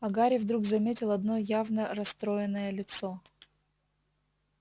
а гарри вдруг заметил одно явно расстроенное лицо